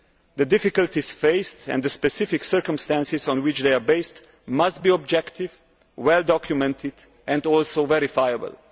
The difficulties faced and the specific circumstances on which they are based must be objective, well documented and also verifiable.